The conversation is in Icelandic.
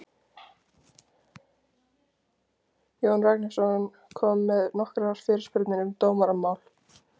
Jón Ragnarsson kom með nokkrar fyrirspurnir um dómaramál.